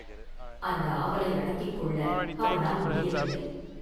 அந்த ஆவலை அடக்கிக் கொள்ள அவனால் முடியவில்லை.